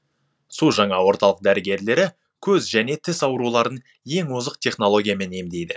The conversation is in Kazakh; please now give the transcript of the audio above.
су жаңа орталық дәрігерлері көз және тіс ауруларын ең озық технологиямен емдейді